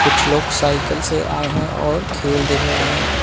कुछ लोग साइकिल से आए हैं और खेल देख रहे हैं।